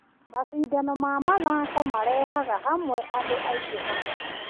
Macindano ma mathako marehaga hamwe andũ aingĩ hamwe.